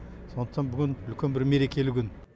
сондықтан бүгін үлкен бір мерекелі күн